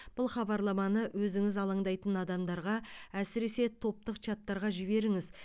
бұл хабарламаны өзіңіз алаңдайтын адамдарға әсіресе топтық чаттарға жіберіңіз